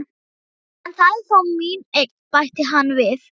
En það er þó mín eign, bætti hann við.